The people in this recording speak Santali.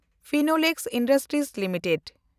Finolex industries limited